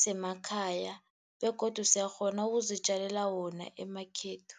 semakhaya, begodu siyakghona ukuzitjalela wona emakhethu.